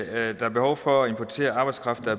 at der er behov for at importere arbejdskraft